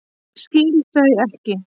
Skil þau ekki.